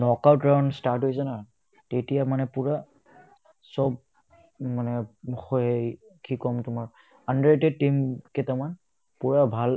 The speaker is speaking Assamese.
knockout run start হৈছে ন তেতিয়া মানে পূৰা চব মানে কি ক'ম তোমাক under team কেইটামান পূৰা ভাল